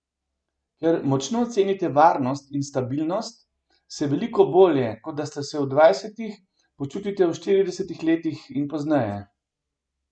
Ker močno cenite varnost in stabilnost, se veliko bolje, kot ste se v dvajsetih, počutite v štiridesetih letih in pozneje.